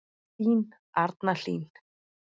Þín Arna Hlín.